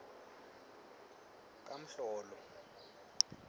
kamhlolo